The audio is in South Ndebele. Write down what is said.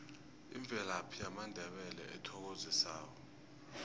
imvelaphi yamandebele ethokozisako